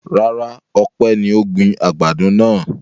Rárá, Ọpẹ́ ni ó gbin àgbàdo náà.